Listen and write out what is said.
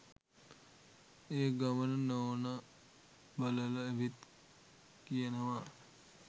ඒගමන නෝන බලල ඇවිත් කියනවා